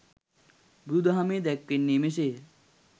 බුදුදහමේ දැක්වෙන්නේ මෙසේය.